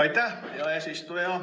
Aitäh, hea eesistuja!